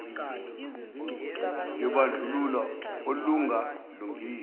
yobandlululo olunga lungile